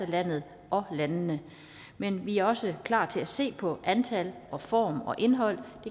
landet og landene men vi er også klar til at se på antal form og indhold